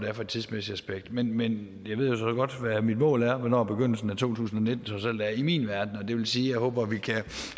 er for et tidsmæssigt aspekt men men jeg ved jo så godt hvad mit mål er og hvornår begyndelsen af to tusind og nitten trods alt er i min verden og det vil sige at jeg håber at vi kan